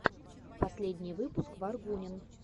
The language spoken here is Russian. последний выпуск варгунин